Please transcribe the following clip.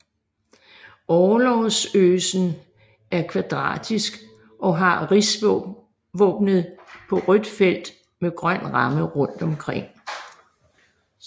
Orlogsgøsen er kvadratisk og har rigsvåbnet på rødt felt med grøn ramme rundt om